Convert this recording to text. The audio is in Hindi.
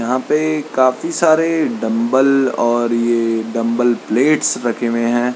यहाँ पे काफी सारे डम्ब्बेल और डम्ब्बेल प्लेट्स रखें हुए हैं।